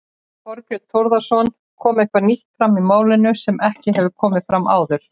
Þorbjörn Þórðarson: Kom eitthvað nýtt fram í málinu sem ekki hefur komið fram áður?